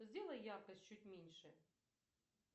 сделай яркость чуть меньше